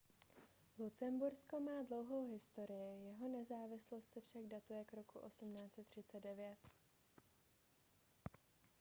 lucembursko má dlouhou historii jeho nezávislost se však datuje k roku 1839